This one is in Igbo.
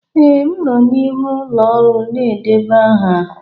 Ee, m nọ n'ihu ụlọ ọrụ na-edeba aha.